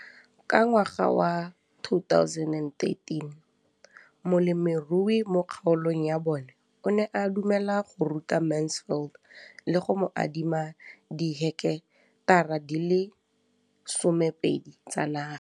Ka ngwaga wa 2013, molemirui mo kgaolong ya bona o ne a dumela go ruta Mansfield le go mo adima di heketara di le 12 tsa naga.